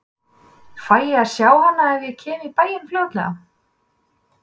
Fæ ég að sjá hana ef ég kem í bæinn fljótlega?